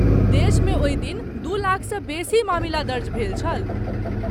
देशमे ओहि दिन दू लाखसँ बेसी मामिला दर्ज भेल छल।